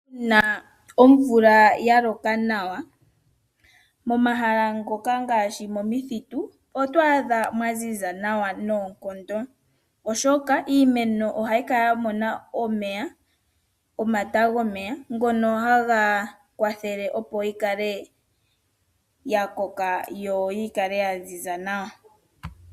Uuna omvula ya loka nawa, momahala ngoka ngaashi momithitu, oto adha mwa ziza nawa noonkondo, oshoka iimeno ohayi kala ya mona omata gomeya ngono haga kwathele, opo yi kale ya koka yo yi kale ya ziza nawa.